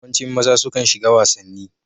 Yawancin maza sukan shiga wasanni.